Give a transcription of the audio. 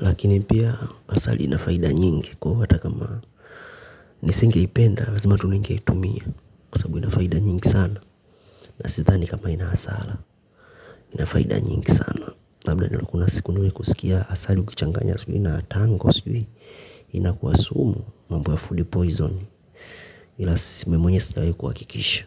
Lakini pia asali inafaida nyingi kwa hivyo hata kama nisinge ipenda lazima tu ninge itumia. Sababu ina faida nyingi sana. Na sidhani kama ina hasara ina faida nyingi sana. Labda kuna siku nimewahi kusikia asali ukichanganya sijui na tango sijui inakua sumu mambo ya food poison ila si mi mwenyewe sijawahi kuhakikisha.